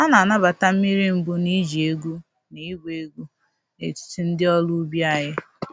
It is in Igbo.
A na-anabata mmiri mbụ na iji egwu na ịgba egwu n’etiti ndị ọrụ ubi anyị.